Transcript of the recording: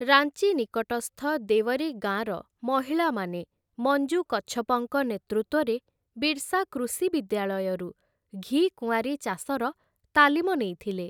ରାଞ୍ଚି ନିକଟସ୍ଥ ଦେୱରୀ ଗାଁର ମହିଳାମାନେ ମଞ୍ଜୁ କଚ୍ଛପଙ୍କ ନେତୃତ୍ୱରେ ବିର୍ସା କୃଷି ବିଦ୍ୟାଳୟରୁ ଘିକୁଆଁରୀ ଚାଷର ତାଲିମ ନେଇଥିଲେ ।